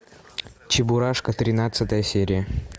чебурашка тринадцатая серия